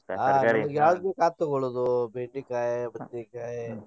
ಯಾವ್ದ್ ಬೇಕಾ ಅದ್ ತೊಗೋಳುದು ಬೆಂಡಿಕಾಯಿ, ಬದ್ನಿಕಾಯಿ.